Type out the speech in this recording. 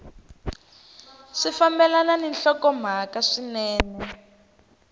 swi fambelana ni nhlokomhaka swinene